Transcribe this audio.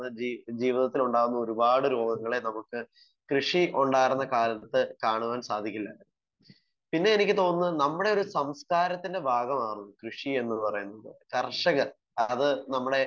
Speaker 1 നമുക്ക് ജീവിത ജീവിതത്തിലുണ്ടാകുന്ന ഒരുപാട് രോഗങ്ങളെ നമുക്ക് കൃഷി ഉണ്ടാർന്ന കാലത്ത് കാണാൻ സാധിക്കില്ല. പിന്നെ എനിക്ക് തോന്നുന്നത് നമ്മുടെ ഒരു സംസ്കാരത്തിൻ്റെ ഭാഗമാവും കൃഷി എന്ന് പറയുന്നത്. കർഷകർ അത് നമ്മടെ